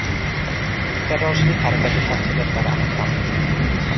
Terrorchilik harakati tafsilotlari aniqlanmoqda.